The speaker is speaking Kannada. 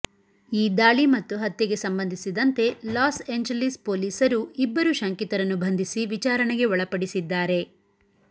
ಈ ದಾಳಿ ಮತ್ತು ಹತ್ಯೆಗೆ ಸಂಬಂಧಿಸಿದಂತೆ ಲಾಸ್ ಏಂಜೆಲಿಸ್ ಪೊಲೀಸರು ಇಬ್ಬರು ಶಂಕಿತರನ್ನು ಬಂಧಿಸಿ ವಿಚಾರಣೆಗೆ ಒಳಪಡಿಸಿದ್ದಾರೆ